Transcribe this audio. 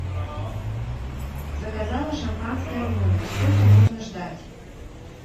заказала шампанское в номер сколько можно ждать